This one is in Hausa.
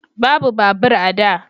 Babu babur a da